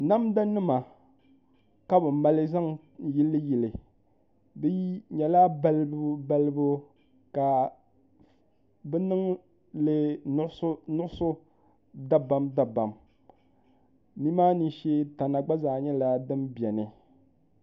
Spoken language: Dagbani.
Namda nim ka bi mali zaŋ yili yili di nyɛla balibu balibu ka bi niŋli nuɣso nuɣso dabam dabam ni maa ni shee tana gba zaa nyɛla din biɛni